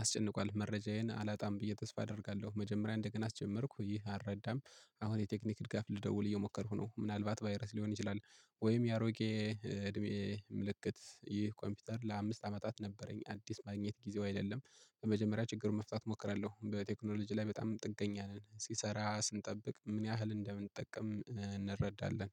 አስጨንቋል መረጃዬን አላጣም ብዬ ተስፋ አደርጋለሁ። መጀመሪያ እንደገና አስጀመርኩ ይህ አልረዳም። አሁን የቴክኒክ ድጋፍ ልደውል እየሞከርኩ ነው። ምናልባት ቫይረስ ሊሆን ይችላል። ወይም የአሮጌ እድሜ ምልክት ይህ ኮምፒውተር ለአምስት አመታት ነበረኝ አዲስ ማግኘት ጊዜው አይደለም። በመጀመሪያ ችግሩን መፍታት እሞክራለሁ። በቴክኖሎጂ ላይ በጣም ጥገኛ ነን ሲሰራ ስንጠብቅ ምን ያህል እንደምንጠቀም እንረዳለን